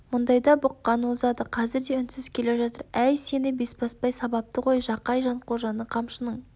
мұндайда бұққан озады қазір де үнсіз келе жатыр әй сені бесбасбай сабапты ғой жақай жанқожаны қамшының